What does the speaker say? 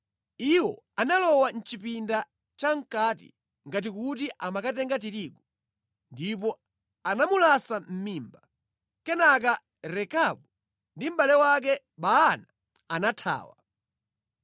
Iwo analowa mʼchipinda chamʼkati ngati kuti amakatenga tirigu, ndipo anamulasa mʼmimba. Kenaka Rekabu ndi mʼbale wake Baana anathawa.